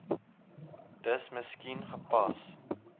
dis miskien gepas